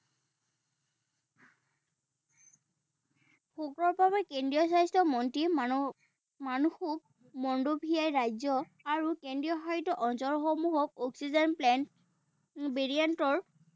বাবে কেন্দ্ৰীয় স্বাস্থ্য মন্ত্ৰীয়ে মানুহক ৰাজ্য আৰু কেন্দ্ৰীয়শাসিত অঞ্চলসমূহত অক্সিজেন plant variant ৰ